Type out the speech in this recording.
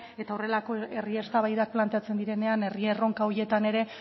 eta horrelako herri eztabaidak planteatzen direnean herri erronka horietan ere